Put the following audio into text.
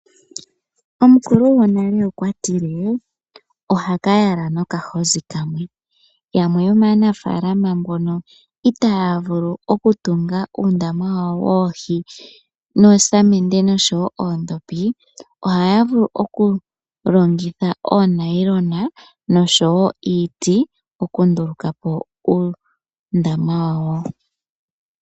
Omukulu gwonale okwa ti le: oha ka tala nokahozi kamwe. Yamwe yomaanafaalama mbono itaa ya vulu oku tunga uundama wawo woohi noosamende osho wo oondhopi ohaya vulu oku longitha oonayilona osho wo iiti okunduluka po uundama wawo.